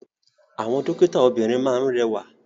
Àwọn dókítà obìrin máa ni rẹwa.